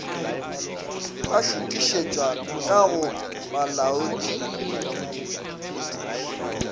ba šuthišetšwa ka go bolaodiphethiši